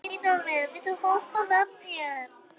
Auðólfur, viltu hoppa með mér?